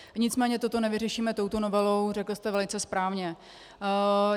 Nicméně toto nevyřešíme touto novelou, řekli jste velice správně.